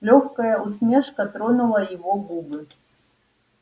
лёгкая усмешка тронула его губы